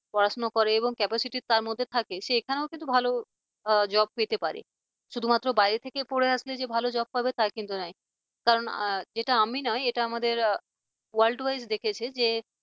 পড়াশোনা করে এবং capacity তার মধ্যে থাকে সে এখানেও কিন্তু ভালো job পেতে পারে শুধুমাত্র বাইরে থেকে পড়ে আসলে যে ভালো job পাবে তা কিন্তু নয় কারণ এটা আমি নয় এটা আমাদের world wise দেখেছে যে